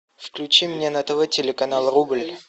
включи мне на тв телеканал рубль